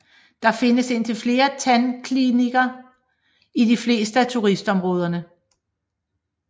Der findes indtil flere tandklikker i de fleste af turistområderne